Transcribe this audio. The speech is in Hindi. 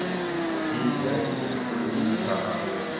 ठीक है टुल्लु ने कहा